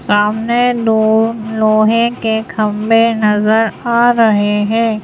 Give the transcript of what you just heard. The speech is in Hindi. सामने दो लोहे के खंभे नजर आ रहे हैं।